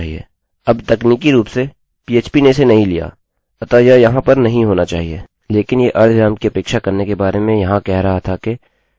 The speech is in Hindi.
लेकिन यह अर्धविराम कि अपेक्षा करने के बारे में यहाँ कह रहा था के जब हम एको का अंत करते है हम अर्धविराम का प्रयोग करते हैं अतः यह इसके लिए जो देख रहा था वहाँ पर है